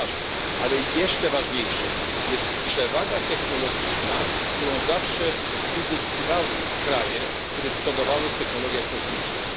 To jest ważne, ale jeszcze ważniejsza jest przewaga technologiczna, którą zawsze uzyskiwały kraje, które przodowały w technologiach kosmicznych.